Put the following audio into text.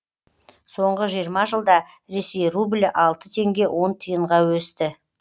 соңғы жиырма жылда ресей рублі алты теңге он тиынға өсті